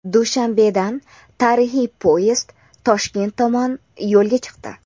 Dushanbedan tarixiy poyezd Toshkent tomon yo‘lga chiqdi.